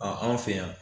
anw fɛ yan